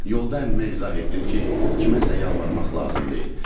Yolda əmmə izah etdim ki, kiməsə yalvarmaq lazım deyil.